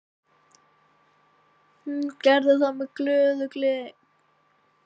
Hún gerði það með glöðu geði.